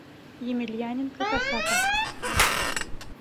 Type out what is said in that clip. емельяненко косака